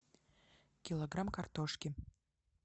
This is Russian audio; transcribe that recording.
килограмм картошки